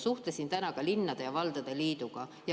Suhtlesin täna ka linnade ja valdade liiduga.